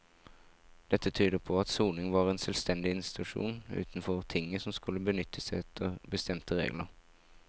Dette tyder på at soning var en selvstendig institusjon utenfor tinget som skulle benyttes etter bestemte regler.